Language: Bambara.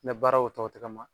Mɛ baaraw tɔ tɛ ka ma